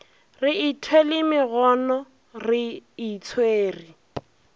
re ithwele megono re itshwere